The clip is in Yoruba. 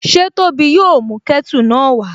Ṣé Tóbi yóò mú kẹ́tù náà wá?